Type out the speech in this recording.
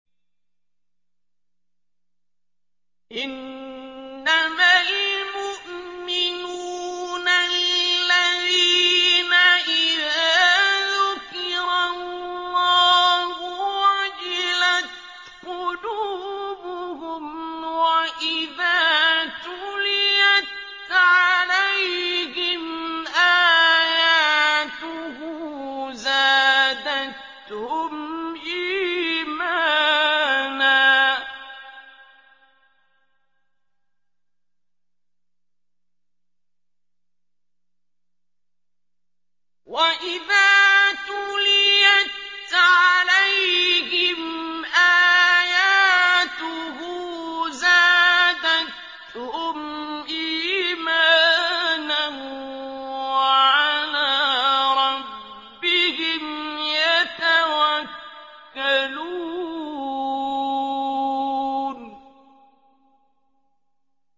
إِنَّمَا الْمُؤْمِنُونَ الَّذِينَ إِذَا ذُكِرَ اللَّهُ وَجِلَتْ قُلُوبُهُمْ وَإِذَا تُلِيَتْ عَلَيْهِمْ آيَاتُهُ زَادَتْهُمْ إِيمَانًا وَعَلَىٰ رَبِّهِمْ يَتَوَكَّلُونَ